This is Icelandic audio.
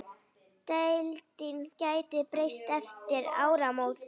Deildin gæti breyst eftir áramót.